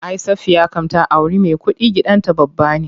Ay Safiya kam ta auri me kuɗi, gidan ta babba ne.